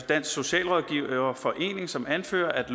dansk socialrådgiverforening som anfører at